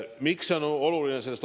Miks see on oluline?